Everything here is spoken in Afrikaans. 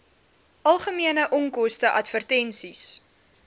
algemene onkoste advertensies